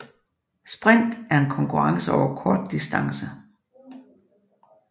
Sprint er en konkurrence over kort distance